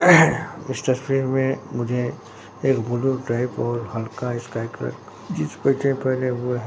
इस तस्वीर में मुझे एक ब्लू टाइप और हल्का स्काई कलर का जिंस पे पहना हुआ हैं।